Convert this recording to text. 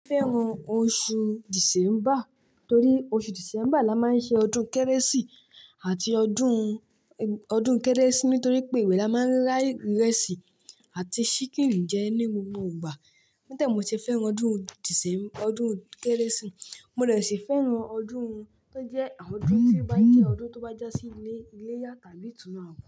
Mo fẹ́ràn oṣù December torí oṣù December la máa ń ṣe ọdún Kérésì ati ọdún, ọdún Kérésì nítorí pé ìbe la máa ń like ìrẹsì àti ṣíkìn jẹ ní gbogbo ìgbà. Nítẹ̀ mi ò ṣe fẹ́ràn ọdún December, ọdún Kérésì. Mo de si fẹ́ràn ọdún tó jẹ́ àwọn ọdún tí ó bá jẹ́ ọdún tó bá já sí ilé, iléyá tàbí ìtùnú àkọ́.